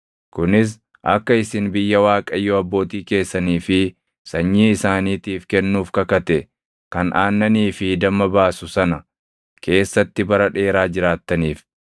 kunis akka isin biyya Waaqayyo abbootii keessanii fi sanyii isaaniitiif kennuuf kakate kan aannanii fi damma baasu sana keessatti bara dheeraa jiraattaniif.